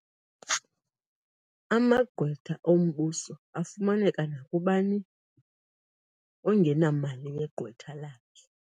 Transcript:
Amagqwetha ombuso afumaneka nakubani ongenamali yegqwetha lakhe.